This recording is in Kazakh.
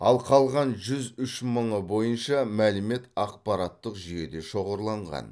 ал қалған жүз үш мыңы бойынша мәлімет ақпараттық жүйеде шоғырланған